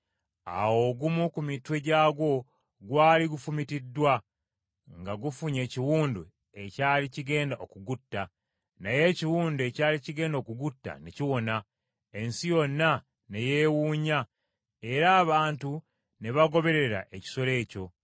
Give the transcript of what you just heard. Awo ogumu ku mitwe gyagwo gwali gufumitiddwa nga gufunye ekiwundu ekyali kigenda okugutta, naye ekiwundu ekyali kigenda okugutta ne kiwona. Ensi yonna ne yeewuunya era abantu ne bagoberera ekisolo ekyo.